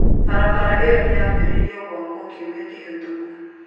Barabara ĩyo nĩ yambĩrĩirio gwakwo kiumia kĩhĩtũku.